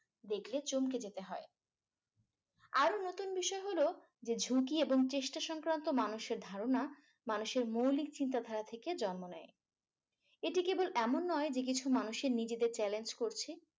দেখলে চমকে যেতে হয় আরো নতুন বিষয় হলো যে ঝুকি এবং চেষ্টা সংক্রান্ত মানুষের ধারণা মানুষের মৌলিক চিন্তা দ্বারা থেকে জন্ম নেয়। এটি কেবল এমন নয় যে কিছু মানুষ নিজেদের challenge করছে ।